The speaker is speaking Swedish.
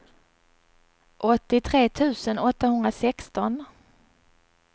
åttiotre tusen åttahundrasexton